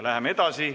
Läheme edasi.